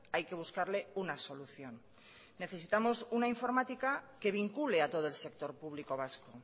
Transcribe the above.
hay que buscarle una solución necesitamos una informática que vincule a todo el sector público vasco